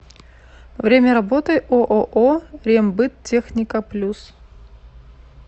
время работы ооо рембыттехника плюс